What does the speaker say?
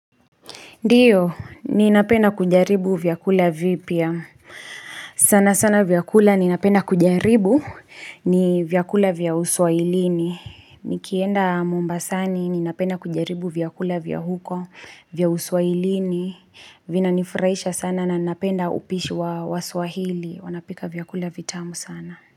Ndiyo, ninapena kujaribu vyakula vipya. Sana sana vyakula ninapenda kujaribu ni vyakula vya uswahilini. Nikienda mombasani ninapenda kujaribu vyakula vya huko vya uswahilini. Vinanifurahisha sana na ninapenda upishi wa swahili. Wanapika vyakula vitamu sana.